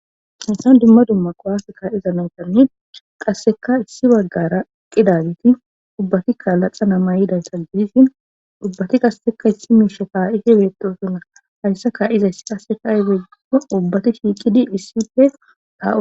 Hansan dimma dumma qowafekka iza nantani qasseka issi baggara qidaagiti ubbati kaalaqa nama yidaysa gidissi ubbati qasseka isshi miisha kaa'ife beettosuna hayssa ka iza issi qassekaigeio ubbati shiiqidi hissifea.